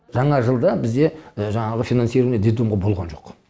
жаңа жылда бізде жаңағы финансирование детдомға болған жоқ